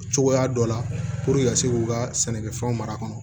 Cogoya dɔ la ka se k'u ka sɛnɛkɛfɛnw mara kɔnɔ